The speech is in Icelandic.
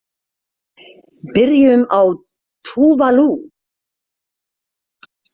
Byrjum á Tuvalu.